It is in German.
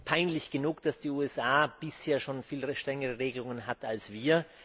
Peinlich genug, dass die USA bisher schon viel strengere Regelungen haben als wir.